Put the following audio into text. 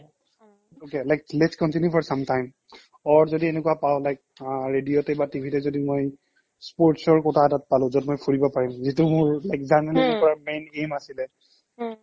okay, like let's continue for sometime or যদি এনেকুৱা পাও like অ radio তে বা TV তে যদি মই sports ৰ quota এটাত পালো য'ত মই ফুৰিব পাৰিম যিটো মোৰ like journalism কৰাৰ main aim আছিল